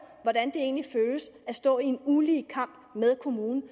hvordan det egentlig føles at stå i en ulige kamp med kommunen